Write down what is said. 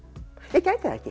ég gæti það ekki